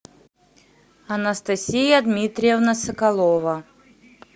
анастасия дмитриевна соколова